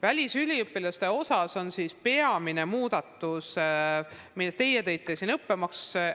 Välisüliõpilaste puhul on peamine muudatus, mille te esile tõite, õppemaks.